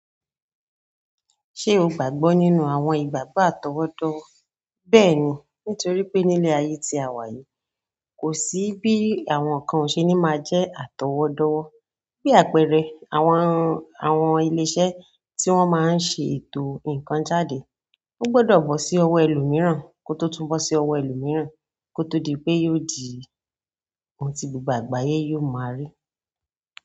Ṣé o gbàgbọ́ nínú àwọn ìgbàgbọ́ àtọwọ́dọ́wọ́? Bẹ́ẹ̀ni, nítorí pé nínú ayé tí a wa yìí kò sí bíi àwọn nǹkan o se ni maa jẹ atọwọdọwọ bíi àpẹẹrẹ, àwọn ilé-iṣẹ́ tí wọ́n maa n ṣe ètò nǹkan jáde. O gbọdọ̀ bọ́ sí ọwọ́ ẹlòmíràn ko tó túnbọ̀ sí ọwọ́ ẹlòmíràn ko tó di pé yóò di ohun tí gbogbo àgbáyé yóò máa rí.